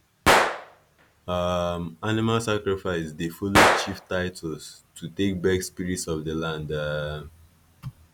um animal sacrifice dey follow chief titles to take beg spirits of the land um